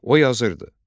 O yazırdı: